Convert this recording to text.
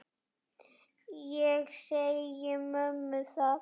Ég segi mömmu það.